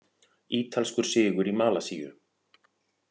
Ítalskur sigur í Malasíu